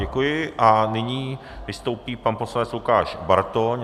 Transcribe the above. Děkuji a nyní vystoupí pan poslanec Lukáš Bartoň.